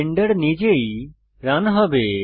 Blender নিজেই run হবে